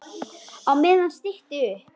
Á meðan stytti upp.